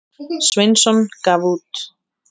Sveinsson gaf út.